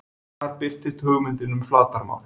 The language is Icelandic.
Þar birtist hugmyndin um flatarmál.